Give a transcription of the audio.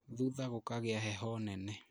Thutha gũkigia heho nene